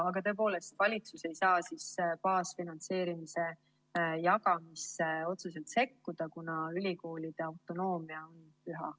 Aga tõepoolest, valitsus ei saa baasfinantseerimise jagamisse otseselt sekkuda, kuna ülikoolide autonoomia on püha.